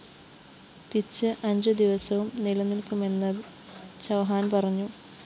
pitch അഞ്ചുദിവസവും നിലനില്‍ക്കുമെന്ന് ചൗഹാന്‍ പറഞ്ഞു